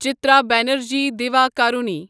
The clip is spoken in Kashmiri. چترا بنرجی دیواکرونی